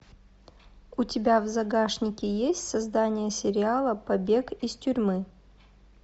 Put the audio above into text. у тебя в загашнике есть создание сериала побег из тюрьмы